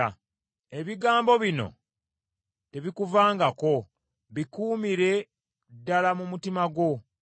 ebigambo bino tebikuvangako, bikuumire ddala mu mutima gwo,